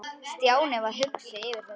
Stjáni varð hugsi yfir þessu.